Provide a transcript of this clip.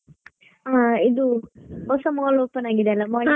ಹಾ ಇದು ಹೊಸ mall open ಆಗಿದೆ ಅಲ್ವಾ .